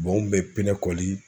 n ŋun bɛ pinɛ kɔli